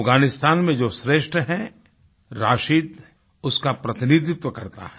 अफगानिस्तान में जो श्रेष्ठ है राशिद उसका प्रतिनिधित्व करता है